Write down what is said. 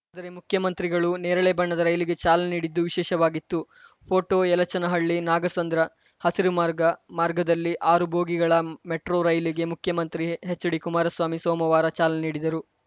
ದರೆ ಮುಖ್ಯಮಂತ್ರಿಗಳು ನೇರಳೆ ಬಣ್ಣದ ರೈಲಿಗೆ ಚಾಲನೆ ನೀಡಿದ್ದು ವಿಶೇಷವಾಗಿತ್ತು ಫೋಟೋ ಯಲಚೇನಹಳ್ಳಿನಾಗಸಂದ್ರ ಹಸಿರು ಮಾರ್ಗ ಮಾರ್ಗದಲ್ಲಿ ಆರು ಬೋಗಿಗಳ ಮೆಟ್ರೋ ರೈಲಿಗೆ ಮುಖ್ಯಮಂತ್ರಿ ಎಚ್‌ಡಿಕುಮಾರಸ್ವಾಮಿ ಸೋಮವಾರ ಚಾಲನೆ ನೀಡಿದರು